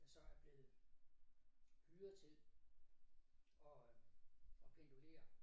Der så er blevet hyret til at at pendulere